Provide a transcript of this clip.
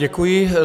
Děkuji.